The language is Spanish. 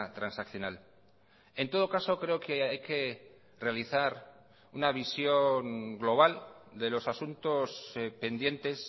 transaccional en todo caso creo que hay que realizar una visión global de los asuntos pendientes